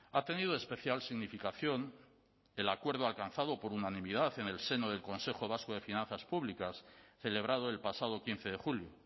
ha tenido especial significación el acuerdo alcanzado por unanimidad en el seno del consejo vasco de finanzas públicas celebrado el pasado quince de julio